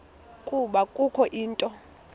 ukuba kukho into